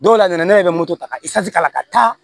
Dɔw la ne yɛrɛ bɛ moto ta ka k'a la ka taa